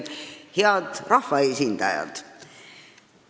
Head rahvaesindajad!